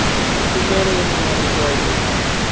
khumbelo yo no ṅwaliswaho u